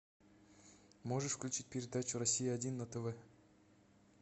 можешь включить передачу россия один на тв